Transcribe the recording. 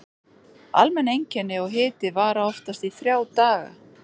Almenn einkenni og hiti vara oftast í þrjá daga.